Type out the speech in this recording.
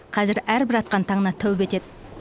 қазір әрбір атқан таңына тәубе етеді